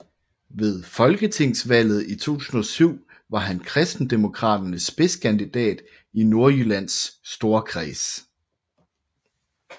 Ved folketingsvalget i 2007 var han Kristendemokraternes spidskandidat i Nordjyllands Storkreds